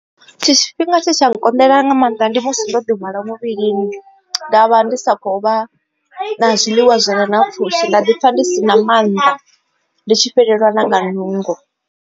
Tshifhinga tshetsha nkonḓela nga maanḓa ndi musi ndo ḓi hwala muvhilini ndavha ndi sa kho vha na zwiḽiwa zwire na pfushi nda ḓi pfha ndi si na mannḓa ndi tshi fhelelwa nga nungo.